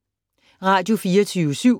Radio24syv